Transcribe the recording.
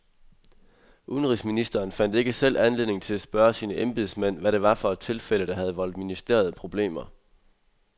Udenrigsministeren fandt ikke selv anledning til at spørge sine embedsmænd, hvad det var for et tilfælde, der havde voldt ministeriet problemer.